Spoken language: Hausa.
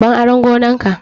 Ban aran gonar ka!